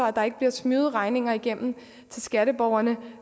at der ikke bliver smyget regninger igennem til skatteborgerne